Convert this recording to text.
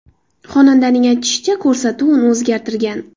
Xonandaning aytishicha, ko‘rsatuv uni o‘zgartirgan.